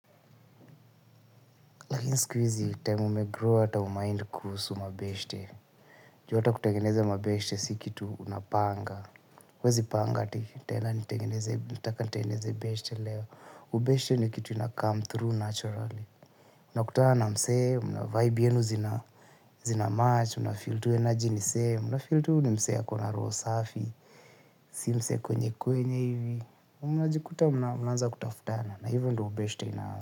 Lakini siku hizi time umegrow ata hu mind kuhusu mabeshte juu ata kutengeneza mabeshte si kitu unapanga huwezi panga eti nitaenda nataka nitengeneze beshte leo ubeshte ni kitu inakam through naturally unakutana na msee vibe yenu zinamatch unafeel tu energy ni same unafeel tu ni msee ako na roho safi since ya kwenye kwenye hivi na unajikuta mnaanza kutafutana na hivyo ndo ubeshte inaaza.